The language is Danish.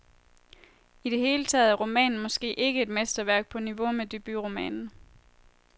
I det hele taget er romanen måske ikke et mesterværk på niveau med debutromanen.